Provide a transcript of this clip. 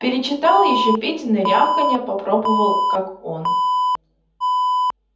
перечитал ещё петины рявканья попробовал как он